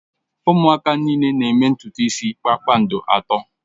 Ụmụaka niile na-eme ntutu isi kpakpando atọ